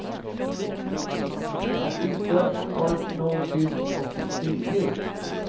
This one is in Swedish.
Att inte var nog tyst och synlig.